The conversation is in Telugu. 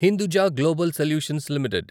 Hinduja global solutions limited